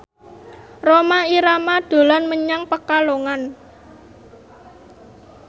Rhoma Irama dolan menyang Pekalongan